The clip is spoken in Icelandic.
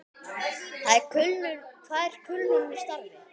Hvað er kulnun í starfi?